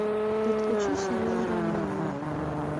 подключи сериал романовы